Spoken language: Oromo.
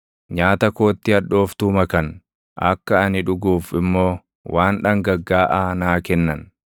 Nyaata kootti hadhooftuu makan; akka ani dhuguuf immoo waan dhangaggaaʼaa naa kennan.